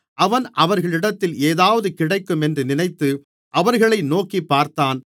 அவன் அவர்களிடத்தில் ஏதாவது கிடைக்கும் என்று நினைத்து அவர்களை நோக்கிப்பார்த்தான்